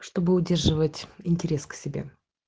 чтобы удерживать интерес к себе